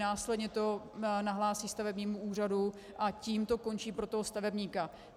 Následně to nahlásí stavebnímu úřadu a tím to končí pro toho stavebníka.